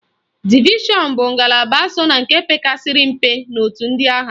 Divishọn bụ ngalaba so na nke pekarịsịrị mpe n'otu ndị agha.